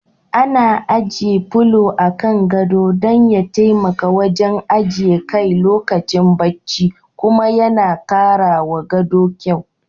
Ana ajiye polo a kan gado dan ya taimaka wajen ajiye kai lokacin bacci kuma yana karawa gado kyau.